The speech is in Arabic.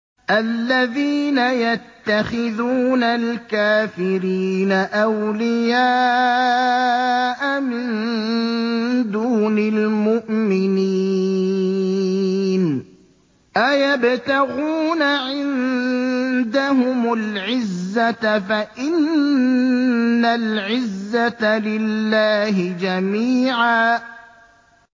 الَّذِينَ يَتَّخِذُونَ الْكَافِرِينَ أَوْلِيَاءَ مِن دُونِ الْمُؤْمِنِينَ ۚ أَيَبْتَغُونَ عِندَهُمُ الْعِزَّةَ فَإِنَّ الْعِزَّةَ لِلَّهِ جَمِيعًا